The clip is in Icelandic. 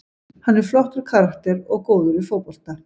Hann er flottur karakter og góður í fótbolta.